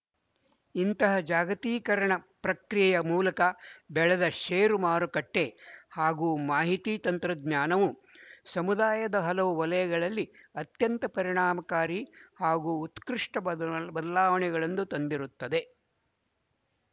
ಇಂತಹ ಜಾಗತೀಕರಣ ಪ್ರಕ್ರಿಯೆಯ ಮೂಲಕ ಬೆಳೆದ ಶೇರು ಮಾರುಕಟ್ಟೆ ಹಾಗೂ ಮಾಹಿತಿ ತಂತ್ರಜ್ಞಾನವು ಸಮುದಾಯದ ಹಲವು ವಲಯಗಳಲ್ಲಿ ಅತ್ಯಂತ ಪರಿಣಾಮಕಾರಿ ಹಾಗೂ ಉತ್ಕೃಷ್ಟ ಬದಲಾ ಬದಲಾವಣೆಗಳನ್ನು ತಂದಿರುತ್ತವೆ